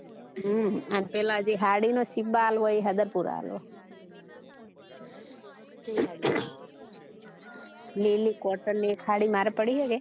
હમ અને પીલા જે સાડી નો સીબા આપ્યો એ સદરપુર આલવો લીલી cotton ની એક સાડી મારે પડી હૈ કે